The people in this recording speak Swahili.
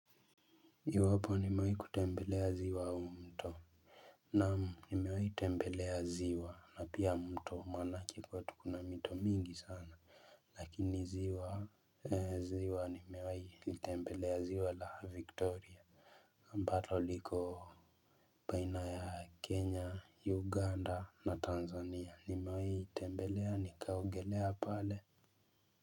Iwapo nimewahi kutembelea ziwa au mto? Naam nimewahi tembelea ziwa na pia mto maanake kwetu kuna mito mingi sana. Lakini ziwa ziwa nimewahi litembelea ziwa la victoria ambalo liko baina ya kenya uganda na tanzania nimewahi itembelea nikaogelea pale.